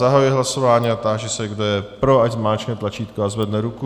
Zahajuji hlasování a táži se, kdo je pro, ať zmáčkne tlačítko a zvedne ruku.